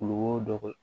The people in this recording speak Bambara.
Kulukoro dɔgɔ